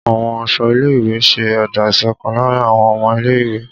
Àwọn aṣọ ilé-ìwé ṣẹ́ ẹ̀dá ìṣọ̀kan láàrin àwọn ọmọ ilé-ìwé.